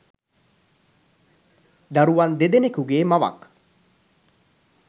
දරුවන් දෙදෙනෙකුගේ මවක්.